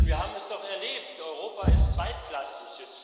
Wir haben es doch erlebt, Europa ist zweitklassig